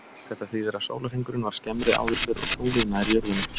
Þetta þýðir að sólarhringurinn var skemmri áður fyrr og tunglið nær jörðinni.